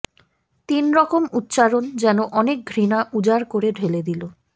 তিন রকম উচ্চারণ যেন অনেক ঘৃণা উজাড় করে ঢেলে দিল